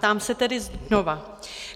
Ptám se tedy znova.